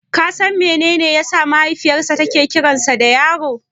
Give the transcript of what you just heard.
Ka san menene yasa mahaifiyarsa take kiransa da Yaro?